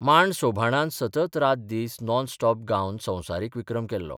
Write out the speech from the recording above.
मांड सोभाणान सतत रात दीस नॉन स्टॉप गावन संवसारीक विक्रम केल्लो.